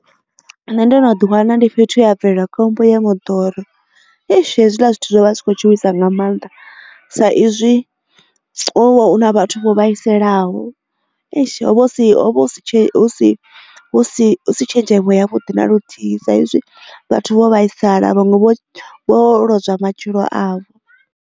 Nṋe ndo no ḓi wana ndi fhethu ya bvelela khombo ya moḓoro eish hezwiḽa zwithu zwo vha zwi kho tshuwisa nga mannḓa sa izwi na hovha hu na vhathu vho vhaisalaho eish ho vha husi tshenzhemo yavhuḓi na luthihi sa izwi vhathu vho vhaisala vhanwe vho wo lozwa matshilo avho.